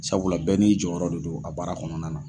Sabula bɛɛ n'i jɔyɔrɔ de don a baara kɔnɔna na.